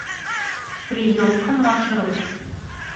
приемка маршрут